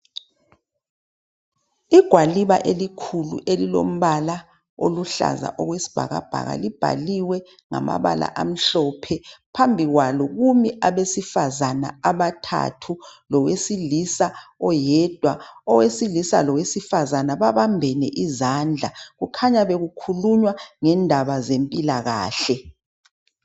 Igwaliba elikhulu elilombala oluhlaza okwesibhakabhaka libhaliwe ngamabala amhlophe phambi kwalo kumi abesifazana abathathu lowesilisa oyedwa. Owesilisa lowesifazana babambene izandla kukhanya bekukhulunywa ngendaba zempilakahle.